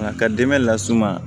Nka ka dɛmɛ las'u ma